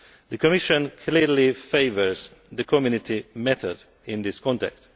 The Commission clearly favours the Community method in this context.